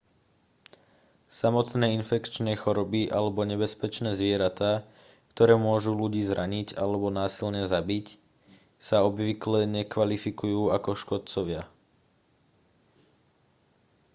samotné infekčné choroby alebo nebezpečné zvieratá ktoré môžu ľudí zraniť alebo násilne zabiť sa obvykle nekvalifikujú ako škodcovia